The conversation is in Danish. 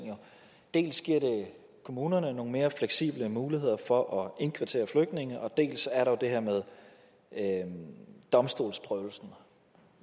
dels giver det kommunerne nogle mere fleksible muligheder for at indkvartere flygtninge dels er der det her med domstolsprøvelsen